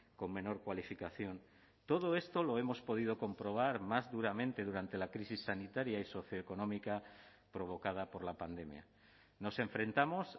con menor cualificación todo esto lo hemos podido comprobar más duramente durante la crisis sanitaria y socioeconómica provocada por la pandemia nos enfrentamos